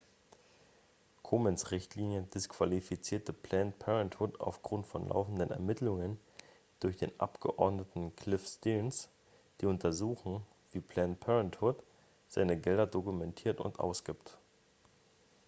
komens richtlinie disqualifizierte planned parenthood aufgrund von laufenden ermittlungen durch den abgeordneten cliff stearns die untersuchen wie planned parenthood seine gelder dokumentiert und ausgibt